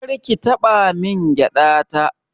Kar ki taɓa min gyaɗa ta.